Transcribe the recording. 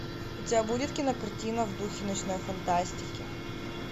у тебя будет кинокартина в духе научной фантастики